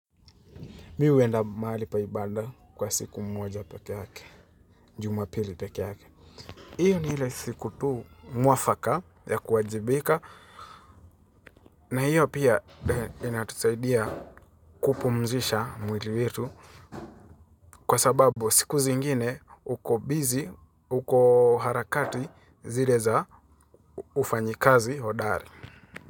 Mi huenda mahali paibanda kwa siku moja peke yake, jumapili peke yake. Hiyo ni ile siku tuu mwafaka ya kuwajibika na hiyo pia inatusaidia kupumzisha mwili wetu. Kwa sababu siku zingine uko bizi, ukoharakati zileza ufanyikazi hodari.